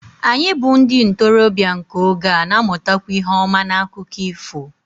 Anyị bụ́ ndị ntorobịa nke oge a na-amụtakwa ihe ọma n'akụkọ ifo